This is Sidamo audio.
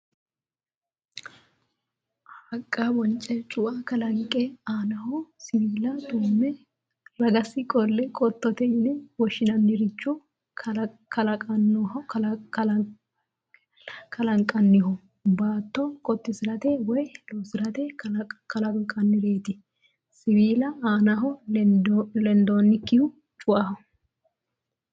Haqqa bonce cua kalanqe aanaho siwiila tumme ragasi qolle qottote yine woshshinanniricho kalanqoonniho. Baatto qottisirate woy loosirate kaalannoreeti. Siwiila aanaho lendoonnikkihu cuaho.